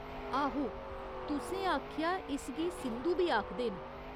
आहो, तुसें आखेआ इसगी सिन्धु बी आखदे न।